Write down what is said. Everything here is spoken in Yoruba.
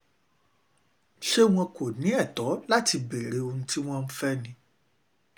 ṣé wọn ṣé wọn kò ní ẹ̀tọ́ láti béèrè ohun tí wọ́n fẹ́ ni